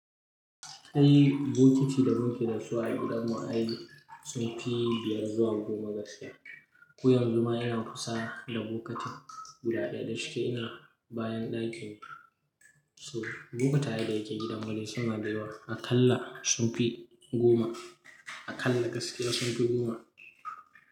Kai bokiti da bokiti da su a gidan mu ai sun fi biyar zuwa goma gaskiya. Ko yanzu ma ina kusa da bokitin guda ɗaya da shike ina bayan ɗakin. So bokitaye da yake gidan mu dai suna da yawa a kalla sun fi goma, a kalla gaskiya sun fi goma.